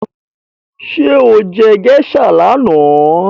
Sọ jẹ́ geisha lánàá?